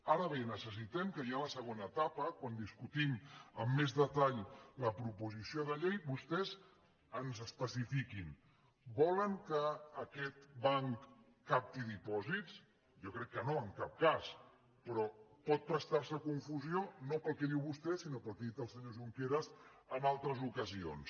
ara bé necessitem que ja en la següent etapa quan discutim amb més detall la proposició de llei vostès ens especifiquin volen que aquest banc capti dipòsits jo crec que no en cap cas però pot prestar se a confusió no pel que diu vostè sinó pel que ha dit el senyor junqueras en altres ocasions